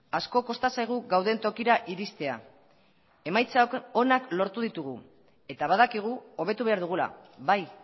asko kosta zaigu gauden tokira iristea emaitza onak lortu ditugu eta badakigu hobetu behar dugula bai